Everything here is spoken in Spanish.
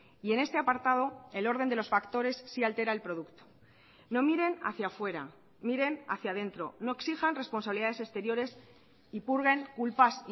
y en este apartado el orden de los factores sí altera el producto no miren hacia fuera miren hacia dentro no exijan responsabilidades exteriores y purguen culpas